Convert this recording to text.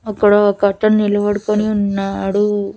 అక్కడ ఒకతను నిలబడుకొని ఉన్నాడు.